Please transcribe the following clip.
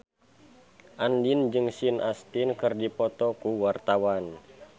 Andien jeung Sean Astin keur dipoto ku wartawan